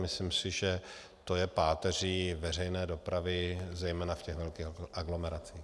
Myslím si, že to je páteří veřejné dopravy, zejména v těch velkých aglomeracích.